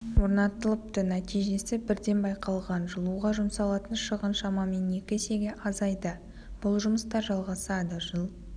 орнатылыпты нәтижесі бірден байқалған жылуға жұмсалатын шығын шамамен екі есеге азайды бұл жұмыстар жалағасады жыл